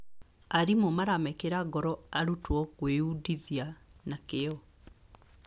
Arimũ maramekĩra ngoro arutwo gwĩundithia na kĩyo.